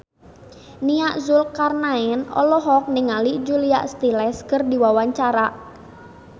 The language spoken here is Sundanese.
Nia Zulkarnaen olohok ningali Julia Stiles keur diwawancara